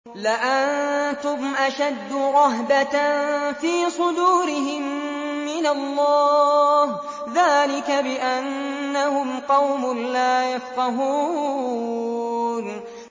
لَأَنتُمْ أَشَدُّ رَهْبَةً فِي صُدُورِهِم مِّنَ اللَّهِ ۚ ذَٰلِكَ بِأَنَّهُمْ قَوْمٌ لَّا يَفْقَهُونَ